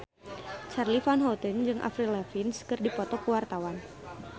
Charly Van Houten jeung Avril Lavigne keur dipoto ku wartawan